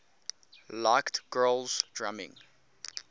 liked grohl's drumming